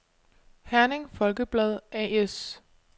Herning Folkeblad A/S